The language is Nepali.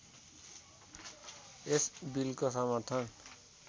यस बिलको समर्थन